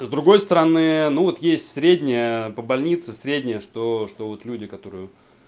с другой стороны ну вот есть средняя по больнице средняя что что вот люди которые